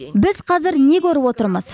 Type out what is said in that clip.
біз қазір не көріп отырмыз